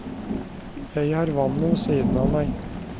Jeg har vannet ved siden av meg.